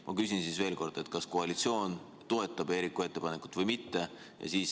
Ma küsin siis veel kord: kas koalitsioon toetab Eeriku ettepanekut või mitte?